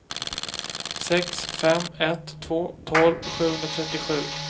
sex fem ett två tolv sjuhundratrettiosju